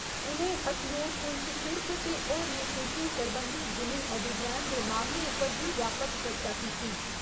उ'नें अखनूर, पुंछ शिड़क ते होरने शिड़कें सरबंधी जिमीं अधिग्रैह्‌ण दे मामले उप्पर बी व्यापक चर्चा कीती।